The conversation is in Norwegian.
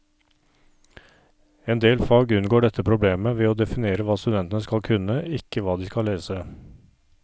Endel fag unngår dette problemet ved å definere hva studentene skal kunne, ikke hva de skal lese.